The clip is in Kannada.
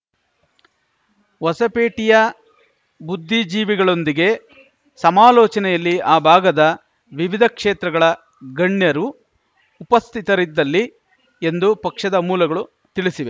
ಹೊಸಪೇಟೆಯ ಬುದ್ಧಿಜೀವಿಗಳೊಂದಿಗೆ ಸಮಾಲೋಚನೆಯಲ್ಲಿ ಆ ಭಾಗದ ವಿವಿಧ ಕ್ಷೇತ್ರಗಳ ಗಣ್ಯರು ಉಪಸ್ಥಿತರಿದ್ದಲ್ಲಿ ಎಂದು ಪಕ್ಷದ ಮೂಲಗಳು ತಿಳಿಸಿವೆ